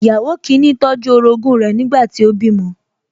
Ìyàwó kìíní tọ́jú orogún rẹ̀ nígbà tí ó bímọ